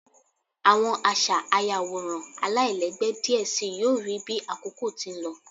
Awọn aṣa ayaworan alailẹgbẹ diẹ sii yoo rii bi akoko ti n lọ